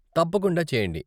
తప్పకుండా చెయ్యండి.